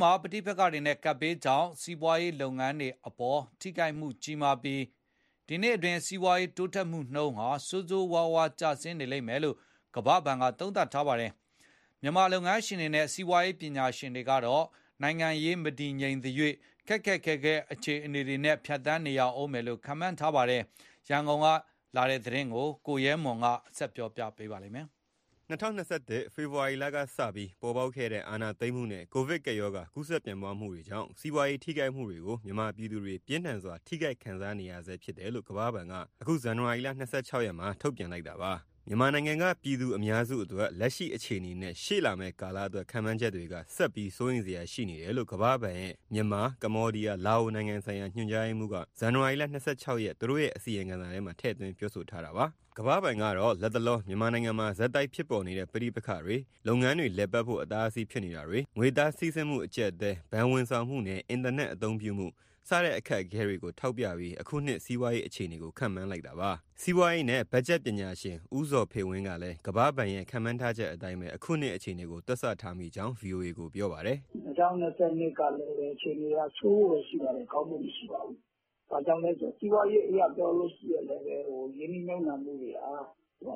မှာ ပဋိပက္ခတွေနဲ့ ကပ်ဘေးကြောင့် စီးပွားရေးလုပ်ငန်းတွေအပေါ်သက်ရောက်မှုကြီးပြီး ဒီနှစ်အတွင်း စီးပွားတိုးတက်မှုဟာ ဆိုးဆိုးဝါးဝါးအားနည်းနေမယ်လို့ ကမ္ဘာဘဏ်ကသုံးသပ်ပါတယ်။ မြန်မာလုပ်ငန်းရှင်တွေနဲ့ စီးပွားရေးပညာရှင်တွေကတော့ နိုင်ငံရေးမတည်ငြိမ်သရွှေ့ ဒီနှစ်ထဲ ခက်ခက်ခဲခဲ အခြေအနေဖြတ်သန်းရဦးမယ်လို့ ခန့်မှန်းကြပါတယ်။ ရန်ကုန်ကရေးသားပေးပို့တဲ့သတင်းကို ကိုရဲမွန် က ပြောပြမှာပါ။ ၂၀၂၁ ဖေဖော်ဝါရီလကစပြီး ပေါ်ပေါက်ခဲ့တဲ့ အာဏာသိမ်းမှုနဲ့ ကိုဗစ်ရောဂါ ကူးစက်ပြန့်ပွားမှုတွေကြောင့် စီးပွားရေးထိခိုက်မှုတွေကို မြန်မာပြည်သူတွေ ပြင်းထန်စွာ ထိခိုက်ခံစားနေရဆဲဖြစ်တယ်လို့ ကမ္ဘာ့ဘဏ်က အခု ဇန်နဝါရီလ ၂၆ရက်မှာ ထုတ်ပြန်လိုက်တာပါ။ မြန်မာနိုင်ငံက ပြည်သူအများစုအတွက် လက်ရှိအခြေအနေနဲ့ ရှေ့လာမယ့်ကာလအတွက် ခန့်မှန်းချက်တွေက ဆက်ပြီးစိုးရိမ်စရာ ရှိနေတယ်လို့ ကမ္ဘာ့ဘဏ်ရဲ့ မြန်မာ၊ ကမ္ဘောဒီးယား၊ လာအိုနိုင်ငံဆိုင်ရာ ညွှန်ကြားရေးမှူးက ဒီနေ့ ဇန်နဝါရီလ ၂၆ရက် သူတို့ရဲ့ အစီရင်ခံစာမှာ ထည့်သွင်း ပြောဆိုထားတာပါ။ ကမ္ဘာ့ဘဏ်ကတော့ လက်တလော မြန်မာနိုင်ငံမှာ ဆက်တိုက်ဖြစ်ပေါ်နေတဲ့ ပဋိပက္ခတွေ၊ လုပ်ငန်းတွေလည်ပတ်ဖို့ အတားအဆီး ဖြစ်နေတာတွေ၊ ငွေသားစီးဆင်းမှု အကျပ်အတည်း၊ ဘဏ်ဝန်ဆောင်မှုနဲ့ အင်တာနက်အသုံးပြုမှု စတဲ့အခက်အခဲတွေကို ထောက်ပြပြီး အခုနှစ်စီးပွားရေး အခြေအနေကို ခန့်မှန်းလိုက်တာပါ။ စီးပွားရေးနဲ့ ဘက်ဂျက်ပညာရှင် ဦးဇော်ဖေဝင်းကလည်း ကမ္ဘာ့ဘဏ်ရဲ့ ခန့်မှန်းထားချက်အတိုင်းပဲ အခုနှစ်အခြေအနေကို တွက်ဆထားမိကြောင်း ဗွီအိုအေကို ပြောပါတယ်။ “ ၂၀၂၂ ကလည်းအခြေအနေက ဆိုးဖို့ပဲရှိပါတယ်၊ ကောင်းဖို့မရှိပါဘူး။ ဘာကြောင့်လဲဆိုတော့ စီးပွားရေးအရ ပြောလို့ရှိရင် ရင်းနှီးမြှုပ်နှံမှုတွေက အားရလော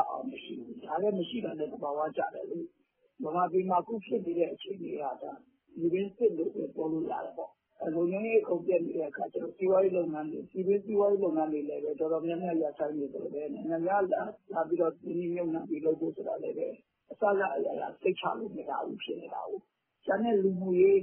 က်အောင်မရှိဘူး။ မရှိတာလည်း သဘာဝကျတယ်လေ ဗမာပြည်မှာ အခုဖြစ်နေတဲ့အခြေအနေက ပြည်တွင်းစစ်လို့ပဲ ပြောလို့ရတယ်ပေါ့၊ လုံခြုံရေး အကုန်ပျက်နေတဲ့အခါကျတော့ ပြည်တွင်းစီးပွားရေး လုပ်ငန်းတွေလည်းပဲ တော်တော်များများ ရပ်ဆိုင်းနေသလိုပဲ နိုင်ငံခြားကလာပြီး ရင်းနှီးမြှုပ်နှံဖို့ဆိုတာကလည်း အစစ၊ အရာရာ စိတ်ချလို့မရဘူး ဖြစ်နေတာကိုး။ ကျန်တဲ့လူမှုရေး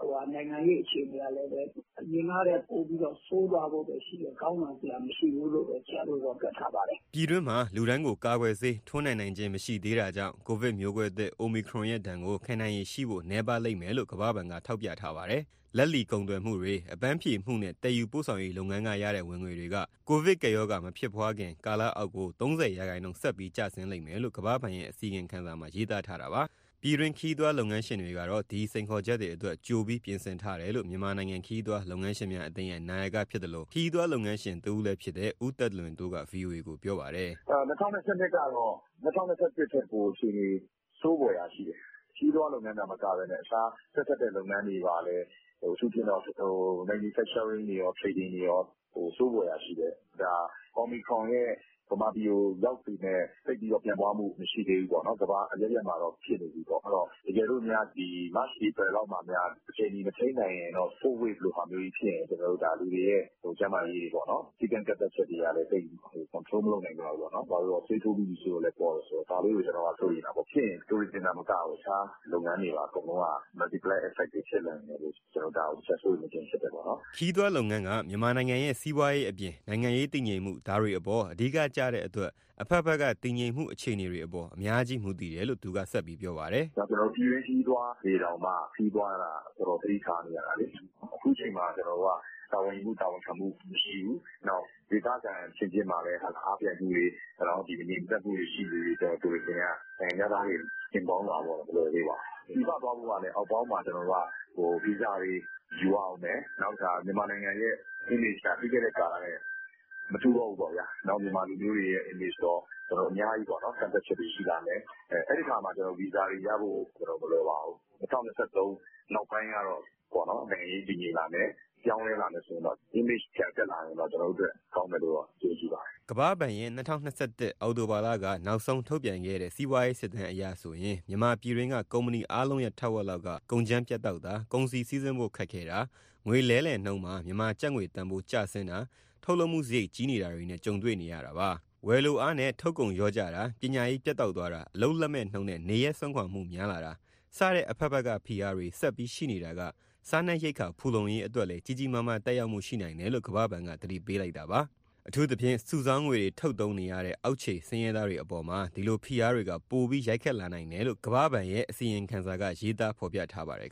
၊ နိုင်ငံရေး အခြေအနေကလည်း အရင်ကထက်ပိုပြီးတော့ ဆိုးသွားဖို့ပဲရှိတယ် ကောင်းလာစရာမရှိဘူးလို့ပဲ တွက်ထားပါတယ်။” ပြည်တွင်းမှာလူတိုင်းကို ကာကွယ်ဆေး ထိုးနှံနိုင်ခြင်းမရှိသေးတာကြောင့် ကိုဗစ်မျိုးကွဲသစ် အိုမီခရွန်ရဲ့ ဒဏ်ကို ခံနိုင်ရည်ရှိဖို့ နည်းပါးလိမ့်မယ်လို့လည်း ကမ္ဘာ့ဘဏ်က ထောက်ပြထားပါတယ်။ လက်လီကုန်သွယ်မှုတွေ၊ အပန်းဖြေမှုနဲ့ သယ်ယူပို့ဆောင်ရေး လုပ်ငန်းကရတဲ့ ဝင်ငွေတွေက ကိုဗစ်ကပ်ရောဂါ မဖြစ်ပွားခင်ကာလအောက်ကို ၃၀ရာခိုင်နှုန်း ဆက်ပြီးကျဆင်းလိမ့်မယ်လို့ ကမ္ဘာ့ဘဏ်ရဲ့ အစီရင်ခံစာမှာ ရေးသားထားတာပါ။ ပြည်တွင်းခရီးသွားလုပ်ငန်းရှင်တွေကတော့ ဒီစိန်ခေါ်ချက်တွေအတွက် ကြိုပြီးပြင်ဆင်ထားတယ်လို့ မြန်မာနိုင်ငံခရီးသွား လုပ်ငန်းရှင်များအသင်းရဲ့နာယကဖြစ်သလို၊ ခရီးသွားလုပ်ငန်းရှင် တဦးလည်းဖြစ်တဲ့ ဦးသက်လွင်တိုးက ဗွီအိုအေကို ပြောပါတယ်။ “ ၂၀၂၂ကတော့ ၂၀၂၁ထက် ပိုအခြေအနေ ဆိုးဖွယ်ရာရှိတယ်။ ခရီးသွားလုပ်ငန်းအတွက်သာ မကဘဲနဲ့တခြား ဆက်စပ်တဲ့လုပ်ငန်းတွေမှာလည်း အထူးသဖြင့် manufacturingတွေရော tradingတွေရော ဆိုးဖွယ်ရာရှိတယ်။ ဒါ အိုမီခရွန်ရဲ့ ဗမာပြည်ကိုရောက်ပေမဲ့ သိပ်ပြီးတော့ပြန့်ပွားမှု မရှိသေးဘူးပေါ့နော်။ ကမ္ဘာအရပ်ရပ်မှာတော့ ဖြစ်နေပြီပေါ့။ အဲဒီတော့ တကယ်လို့များ March- April လောက်မှာများ အချိန်မီ မထိန်းနိုင်ရင်တော့ 4thWave လိုဟာမျိုးကြီးဖြစ်ရင် လူတွေရဲ့ ကျန်းမာရေးတွေ… စည်းကမ်း ကန့်သတ်ချက်တွေကလည်း သိပ်ပြီး ကွန်ထရိုးမလုပ်နိုင်ကြဘူး ပေါ့နော်။ ဆေးထိုးပြီးပြီဆိုတော့လည်း ပေါ့တယ်ဆိုတော့၊ ဒါကိုကျနော်က စိုးရိမ်တာပေါ့။ ဖြစ်ရင် tourism ( ခရီးသွားလုပ်ငန်း) တင်မကဘူး တခြားလုပ်ငန်းတွေပါ အကုန်လုံးကmultiply effect တွေ ဖြစ်လာနိုင်တယ်လို့ ဒါကိုတချက် စိုးရိမ်နေခြင်း ဖြစ်တယ်ပေါ့။” ခရီးသွားလုပ်ငန်းက မြန်မာနိုင်ငံရဲ့ စီးပွားရေးအပြင်၊ နိုင်ငံရေးတည်ငြိမ်မှု ဒါတွေအပေါ်အဓိကကျတဲ့အတွက် အဘက်ဘက်က တည်ငြိမ်မှု အခြေအနေတွေအပေါ် အများကြီးမူတယ်လို့ သူကပြောပါတယ်။ “ ကျနော်တို့ပြည်တွင်း ခရီးသွားတွေတောင်မှ ခရီးသွားတာ တော်တော်သတိထားနေရတာလေ။ အခုအချိန်မှာ ကျနော်တို့က တာဝန်ယူမှု၊ တာဝန်ခံမှုမရှိဘူး။ နောက် ဒေသခံအချင်းချင်းမှာလည်း အားပြိုင်မှုတွေ၊ မငြိမ်မသက်မှုတွေ ရှိနေသရွှေ့ ခရီးသွားလုပ်ငန်းက နိုင်ငံခြားသားတွေ လာဖို့က မလွယ်သေးပါဘူး။ ပြည်ပခရီးသွားဖို့ကလည်း ဗီဇာတွေယူရဦးမယ်၊ နောက်တခါ မြန်မာနိုင်ငံရဲ့ image(ပုံရိပ်က) ပြီးခဲ့တဲ့ကာလထက်မတူတော့ဘူးပေါ့ဗျာ။ မြန်မာလူမျိုးတွေရဲ့ image ရော၊ အများကြီး ကန့်သတ်ချက်တွေ ရှိလာမယ်၊ အဲဒီအခါမှာ ကျနော်တို့ ဗီဇာတွေရဖို့ မလွယ်ပါဘူး။ ၂၀၂၃ နောက်ပိုင်းကတော့ နိုင်ငံရေးတည်ငြိမ်လာမယ်၊ ပြောင်းလဲလာမယ်ဆိုရင်တော့ image ပြန်တက်လာရင်တော့ ကျနော်တို့အတွက် ကောင်းမယ်လို့ယုံကြည်ပါတယ်။” ကမ္ဘာ့ဘဏ်ရဲ့၂၀၂၁၊ အောက်တိုဘာလက နောက်ဆုံးထုတ်ပြန်ခဲ့တဲ့ စီးပွားရေးစစ်တမ်းအရဆိုရင် မြန်မာပြည်တွင်းက ကုမ္ပဏီအားလုံးရဲ့ ထက်ဝက်လောက်က သွင်းအားစုနဲ့ ကုန်ကြမ်းပြတ်တောက်တာ၊ ကုန်စည်စီးဆင်းဖို့ ခက်ခဲတာ၊ ငွေလဲလှယ်နှုန်းမှာ မြန်မာကျပ်ငွေတန်ဖိုး ကျဆင်းတာ၊ ထုတ်လုပ်မှုစရိတ်ကြီးနေတာတွေနဲ့ ကြုံတွေ့နေရတာပါ။ ဝယ်လိုအားနဲ့ ထုတ်ကုန်လျော့ကျတာ၊ ပညာရေးပြတ်တောက်သွားတာ၊ အလုပ်လက်မဲ့နှုန်းနဲ့ နေရပ်စွန့်ခွာမှုများလာတာ စတဲ့အဘက်ဘက်က ဖိအားတွေ ဆက်ပြီးရှိနေတာက စားနပ်ရိက္ခာဖူလုံးရေးအတွက်လည်း ကြီးကြီးမားမားသက်ရောက်မှု ရှိနိုင်တယ်လို့ ကမ္ဘာ့ဘဏ်က သတိပေးလိုက်တာပါ။ အထူးသဖြင့် စုဆောင်းငွေတွေထုတ်သုံးနေရတဲ့ အောက်ခြေဆင်းရဲသားတွေအပေါ်မှာ ဒီလိုဖိအားတွေက ပိုပြီးရိုက်ခတ်လာနိုင်တယ်လို့ ကမ္ဘာ့ဘဏ်ရဲ့ ဒီနေ့အစီရင်ခံစာက ရေးသားဖော်ပြထားပါတယ်